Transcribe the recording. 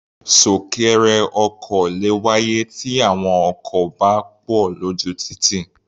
Súnkẹrẹ ọkọ̀ le wáyé tí àwọn ọkọ̀ bá pọ̀ lójú títì.